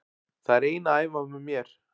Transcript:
Það er ein að æfa með mér.